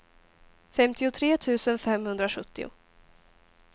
femtiotre tusen femhundrasjuttio